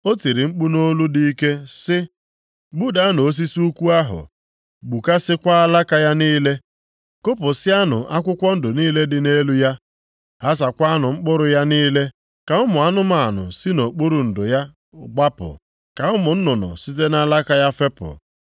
O tiri mkpu nʼolu dị ike sị, ‘Gbudanụ osisi ukwu ahụ, gbukasịakwa alaka ya niile. Kụpụsịanụ akwụkwọ ndụ niile dị nʼelu ya. Ghasaakwanụ mkpụrụ ya niile, ka ụmụ anụmanụ si nʼokpuru ndo ya gbapụ, ka ụmụ nnụnụ site nʼalaka ya fepụ.